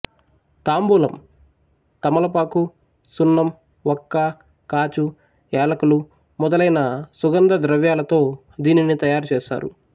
తాంబూలం తమలపాకు సున్నం వక్క కాచు ఏలకులు మొదలైన సుగంధ ద్రవ్యాలతో దీనిని తయారుచేస్తారు